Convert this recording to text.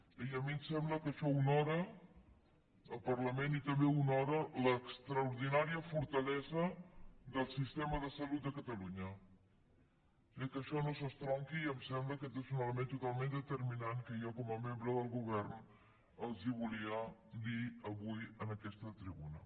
i a mi em sembla que això honora el parlament i també honora l’extraordinària fortalesa del sistema de salut de catalunya eh que això no s’estronqui em sembla que aquest és un element totalment determinant que jo com a membre del govern els volia dir avui en aquesta tribuna